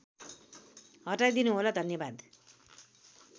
हटाइदिनु होला धन्यवाद